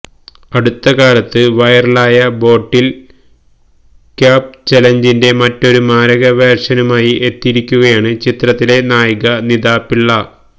അടുത്ത കാലത്ത് വൈറലായ ബോട്ടില് ക്യാപ് ചലഞ്ചിന്റെ മറ്റൊരു മാരക വേര്ഷനുമായി എത്തിയിരിക്കുകയാണ് ചിത്രത്തിലെ നായിക നിതാ പിള്ള